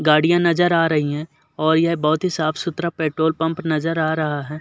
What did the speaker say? गाड़ियां नज़र आ रही हैं और यह बोहोत ही साफ़ सुथरा पेट्रोल पंप नज़र आ रहा है।